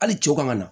Hali cɛw ka na